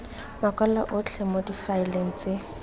makwalo otlhe mo difaeleng tse